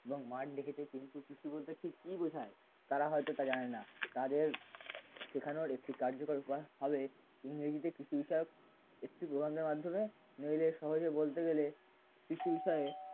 এবং মাঠ দেখেছে কিন্তু কৃষি বলতে ঠিক কি বোঝায় তারা হয়তো তা জানে না তাদের সেখানেও একটি কার্যকর বা ভাবে ইংরেজিতে কৃষি বিষয়ক একটি প্রবন্ধের মাধ্যমে নইলে সহজে বলতে গেলে কৃষি বিষয়ে